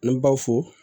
An baw fo